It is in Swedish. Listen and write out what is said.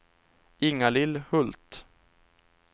Inga-Lill Hult